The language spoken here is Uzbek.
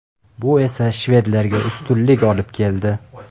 Bu esa shvedlarga ustunlik olib keldi.